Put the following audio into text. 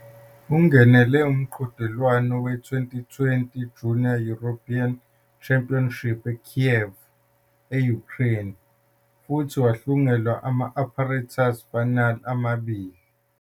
Ungenele umqhudelwano we-2020 Junior European Championship eKyiv, e-Ukraine futhi wahlungela ama-apparatus final amabili.